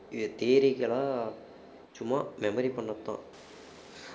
இது theory க்கெல்லாம் சும்மா memory பண்ணதுதான்